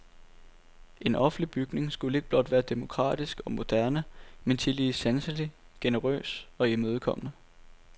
En offentlig bygning skulle ikke blot være demokratisk og moderne, men tillige sanselig, generøs og imødekommende.